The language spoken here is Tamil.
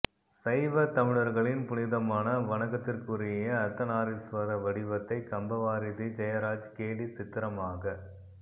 சைவத் தமிழர்களின் புனிதமான வணக்கத்திற்குரிய அர்த்தநாரீஸ்வரர் வடிவத்தை கம்பவாரிதி ஜெயராஜ் கேலிச் சித்திரமாகப்